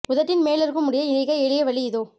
உதட்டின் மேல் இருக்கும் முடியை நீக்க எளிய வழி இதோ